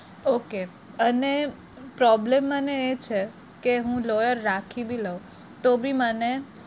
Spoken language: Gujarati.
okay અને problem મને એ છે કે હું lawyer રાખી બી લવ તોભી મને